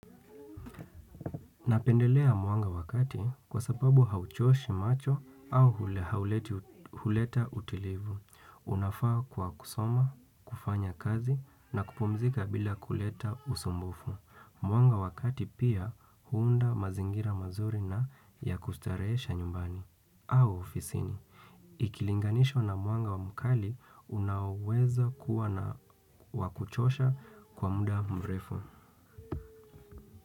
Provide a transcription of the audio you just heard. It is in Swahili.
Napendelea mwanga wakati kwa sababu hauchoshi macho au huleta utulivu. Unafaa kwa kusoma, kufanya kazi na kupumzika bila kuleta usumbufu. Mwanga wa kati pia huunda mazingira mazuri na ya kustarehesha nyumbani au ofisini. Ikilinganishwa na mwanga wa mkali unaoweza kuwa na wakuchosha kwa muda mrefu.